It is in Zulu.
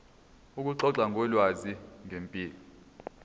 ukuxoxa ngolwazi ngempilo